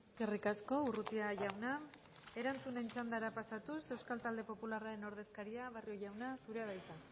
eskerrik asko urrutia jauna erantzunen txandara pasatuz euskal talde popularraren ordezkaria barrio jauna zurea da hitza